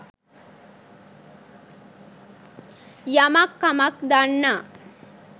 යමක් කමක් දන්නා